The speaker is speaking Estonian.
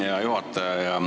Hea juhataja!